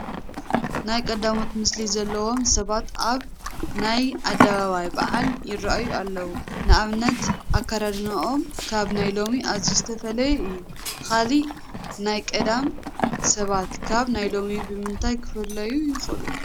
ናይ ቀዳሞት ምስሊ ዘለዎም ሰባት ኣብ ናይ ኣደባባይ በዓል ይርአዩ ኣለዉ፡፡ ንኣብነት ኣከዳድንኦም ካብ ናይ ሎሚ ኣዝዩ ዝተፈለየ እዩ፡፡ ካልእ ናይ ቀደም ሰባት ካብ ናይ ሎሚ ብምንታይ ክፍለዩ ይኽእሉ?